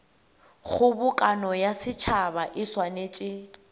kgobokano ya setšhaba e swanetše